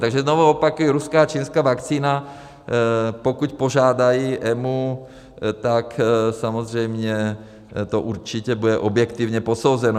Takže znovu opakuji, ruská a čínská vakcína, pokud požádají EMA, tak samozřejmě to určitě bude objektivně posouzeno.